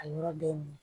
A yɔrɔ bɛ mɔn